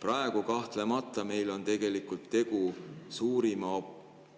Praegu on kahtlemata tegu suurima